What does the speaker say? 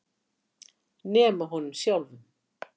Nema honum sjálfum.